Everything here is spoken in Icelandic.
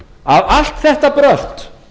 að allt þetta brölt